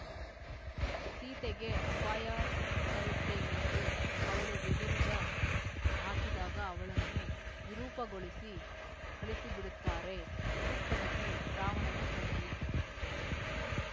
ಸೀತೆಗೆ ಅಪಾಯ ತರುತ್ತೇನೆಂದು ಅವಳು ಬೆದರಿದ ಹಾಕಿದಾಗ ಅವಳನ್ನು ವಿರೂಪಗೊಳಿಸಿ ಕಳಿಸಿಬಿಡುತ್ತಾರೆ ಶೂರ್ಪನಖಿ ರಾವಣನ ತಂಗಿ